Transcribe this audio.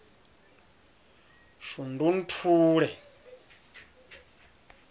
shundunthule